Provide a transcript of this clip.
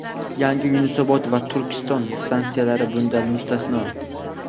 Yangi "Yunusobod" va "Turkiston" stansiyalari bundan mustasno.